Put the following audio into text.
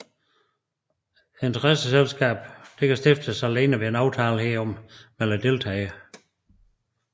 Interessentskabet kan stiftes alene ved en aftale herom mellem deltagerne